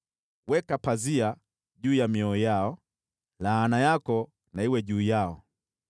Weka pazia juu ya mioyo yao, laana yako na iwe juu yao!